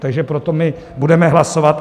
Takže pro to my budeme hlasovat.